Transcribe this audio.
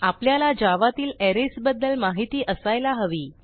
आपल्याला जावा तील अरेज बद्दल माहिती असायला हवी